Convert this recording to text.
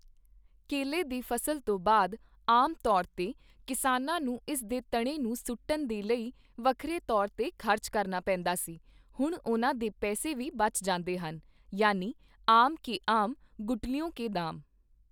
ਕੇਲੇ ਦੀ ਫਸਲ ਤੋਂ ਬਾਅਦ ਆਮ ਤੌਰ ਤੇ ਕਿਸਾਨਾਂ ਨੂੰ ਇਸ ਦੇ ਤਣੇ ਨੂੰ ਸੁੱਟਣ ਦੇ ਲਈ ਵੱਖਰੇ ਤੌਰ ਤੇ ਖ਼ਰਚ ਕਰਨਾ ਪੇਂਦਾ ਸੀ, ਹੁਣ ਉਨ੍ਹਾਂ ਦੇ ਪੈਸੇ ਵੀ ਬਚ ਜਾਂਦੇ ਹਨ, ਯਾਨੀ ਆਮ ਕੇ ਆਮ ਗੁਠਲੀਓਂ ਕੇ ਦਾਮ।